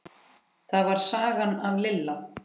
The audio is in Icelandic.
Það var sagan af Litla